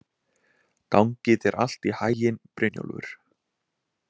Gangi þér allt í haginn, Brynjólfur.